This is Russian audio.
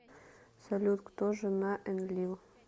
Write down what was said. салют кто жена энлил